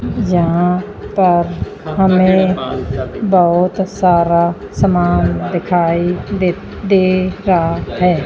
यहां पर हमें बहुत सारा समान दिखाई दे दे रहा है।